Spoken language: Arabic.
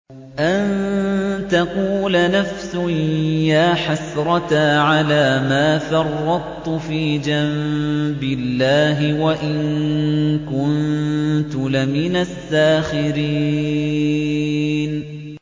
أَن تَقُولَ نَفْسٌ يَا حَسْرَتَا عَلَىٰ مَا فَرَّطتُ فِي جَنبِ اللَّهِ وَإِن كُنتُ لَمِنَ السَّاخِرِينَ